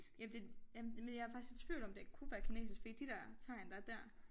Ja det men jeg faktisk i tvivl om det kunne være kinesisk fordi de der tegn der er dér